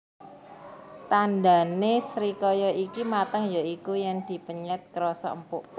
Tandhane srikaya iki mateng ya iku yen dipenyet krasa empuk